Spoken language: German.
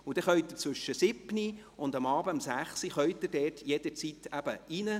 Sie können zwischen 7 Uhr und 18 Uhr jederzeit hineingelangen.